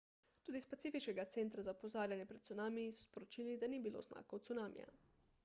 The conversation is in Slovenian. tudi iz pacifiškega centra za opozarjanje pred cunamiji so sporočili da ni bilo znakov cunamija